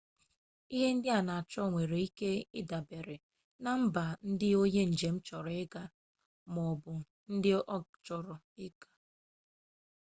ihe ndị a na-achọ nwere ike idabere na mba ndị onye njem gagoro maọbụ ndị ọ chọrọ ịga